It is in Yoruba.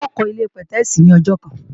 N ó kọ́ ilé-pẹ̀tẹ́èsì ní ọjọ́ kan